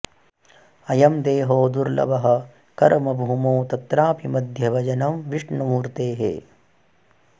अयं देहो दुर्ल्लभः कर्मभूमौ तत्रापि मध्ये भजनं विष्णुमूर्तेः